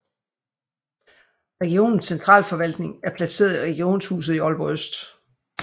Regionens centralforvaltning er placeret i Regionshuset i Aalborg Øst